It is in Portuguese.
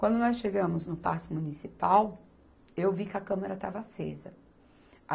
Quando nós chegamos no Paço Municipal, eu vi que a Câmara estava acesa.